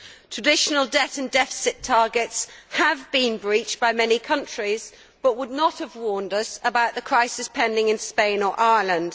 Traditional debt and deficit targets have been breached by many countries, but would not have warned us about the crisis pending in Spain or Ireland.